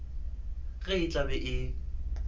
ge e tla be e